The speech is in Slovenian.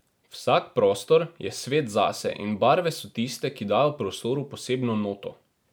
Vsak prostor je svet zase in barve so tiste, ki dajo prostoru posebno noto.